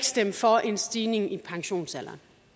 stemme for en stigning i pensionsalderen